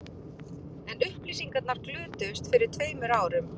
En upplýsingarnar glötuðust fyrir tveimur árum